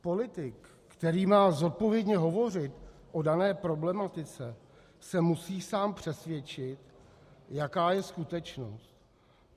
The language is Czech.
Politik, který má zodpovědně hovořit o dané problematice, se musí sám přesvědčit, jaká je skutečnost.